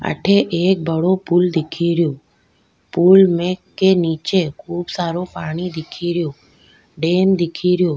अठे एक बड़ो पूल दिखेरो पूल में के निचे खूब सरो पानी दिखेरो डेम दिखेरो।